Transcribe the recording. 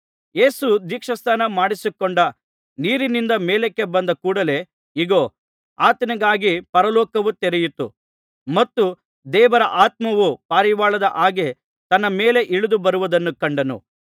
ಯೇಸು ದೀಕ್ಷಾಸ್ನಾನ ಮಾಡಿಸಿಕೊಂಡ ನೀರಿನಿಂದ ಮೇಲಕ್ಕೆ ಬಂದ ಕೂಡಲೇ ಇಗೋ ಆತನಿಗಾಗಿ ಪರಲೋಕವು ತೆರೆಯಿತು ಮತ್ತು ದೇವರ ಆತ್ಮವು ಪಾರಿವಾಳದ ಹಾಗೆ ತನ್ನ ಮೇಲೆ ಇಳಿದು ಬರುವುದನ್ನು ಕಂಡನು